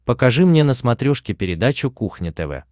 покажи мне на смотрешке передачу кухня тв